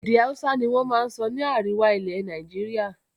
Èdè Hausa ni wọn máa ń sọ ní àríwá ilẹ̀ Nàìjíríà